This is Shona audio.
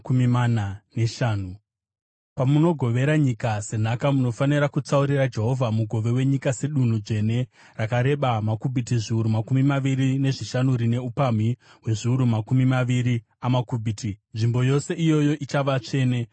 “ ‘Pamunogovera nyika senhaka, munofanira kutsaurira Jehovha mugove wenyika sedunhu dzvene, rakareba makubhiti zviuru makumi maviri nezvishanu rine upamhi hwezviuru makumi maviri amakubhiti; nzvimbo yose iyoyo ichava tsvene.